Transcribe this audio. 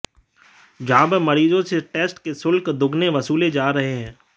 जहां पर मरीजों से टेस्ट के शुल्क दोगुने वसूले जा रहे हैं